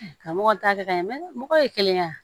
Karamɔgɔ t'a kɛ ka ɲɛ mɔgɔ ye kelen ye wa